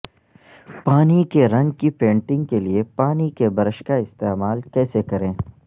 پانی کے رنگ کی پینٹنگ کے لئے پانی کے برش کا استعمال کیسے کریں